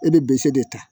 E bɛ de ta